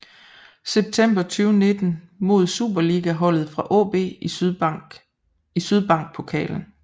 September 2019 mod superligaholdet fra AaB i Sydbank Pokalen